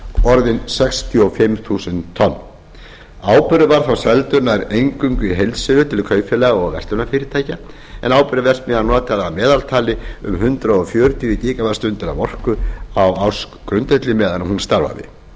orðin sextíu og fimm þúsund tonn áburður var þá seldur nær eingöngu í heildsölu til kaupfélaga og verslunarfyrirtækja áburðarverksmiðjan notaði að meðaltali um hundrað fjörutíu gwh af orku á ársgrundvelli meðan hún starfaði